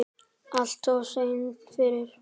Alltof seinn fyrir.